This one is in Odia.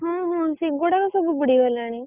ହଁ ହଁ ସେଗୁଡାକ ସବୁ ବୁଡ଼ି ଗଲାଣି।